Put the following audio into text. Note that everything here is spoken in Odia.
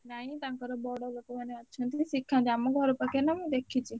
ନାଇ ତାଙ୍କର ବଡ ଲୋକମାନେ ଅଛନ୍ତି ଶିଖାନ୍ତି ଆମ ଘର ପାଖରେ ନା ମୁଁ ଦେଖିଛି।